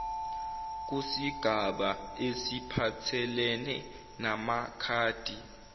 kusigaba esiphathelene namakhadi